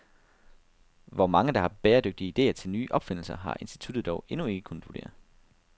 Hvor mange, der har bæredygtige idéer til nye opfindelser, har instituttet dog endnu ikke kunnet vurdere.